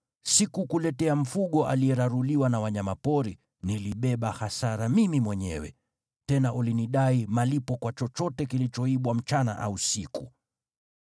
Sikukuletea mfugo aliyeraruliwa na wanyama pori, nilibeba hasara mimi mwenyewe. Tena ulinidai malipo kwa chochote kilichoibwa mchana au usiku.